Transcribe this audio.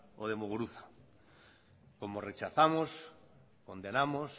o de muguruza como rechazamos condenamos